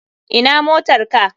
Ina motar ka?